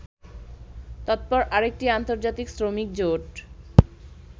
তৎপর আরেকটি আন্তর্জাতিক শ্রমিক জোট